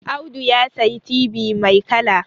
Audu ya sayi tibi mai kala